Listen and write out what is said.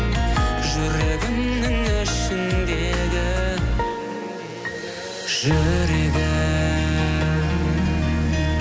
жүрегімнің ішіндегі жүрегім